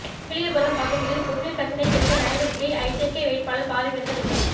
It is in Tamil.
உப்பிலியபுரம் பகுதியில் குடிநீர் பிரச்னை தீர்க்க நடவடிக்கை ஐஜேகே வேட்பாளர் பாரிவேந்தர் உறுதி